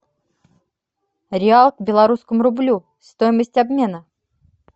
реал к белорусскому рублю стоимость обмена